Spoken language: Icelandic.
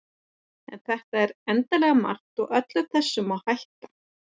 en þetta er endanlega margt og öllu þessu má hætta